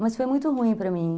Mas foi muito ruim para mim.